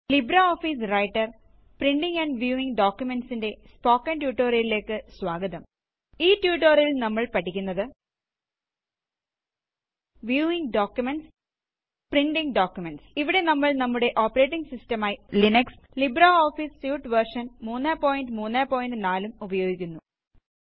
LibreOffice writer - printing and viewing ഡോക്കുമെന്റ്സ്നെന്റെ spoken ട്യൂട്ടോറിയലേക്കു സ്വാഗതം ഈ ട്യൂട്ടോറിയലില് നമ്മള് പഠിക്കുന്നത് വ്യൂവിംഗ് ഡോക്കുമെന്റ്സ് പ്രിന്റിംഗ് ഡോക്കുമെന്റ്സ് ഇവിടെ നമ്മള് നമ്മുടെ ഓപ്പറേറ്റിംഗ് സിസ്റ്റം ആയി ലിനക്സ് ലിബ്രെഓഫീസ് സ്യൂട്ട് വേര്ഷന് 334 ലും ഉപയോഗിക്കുന്നു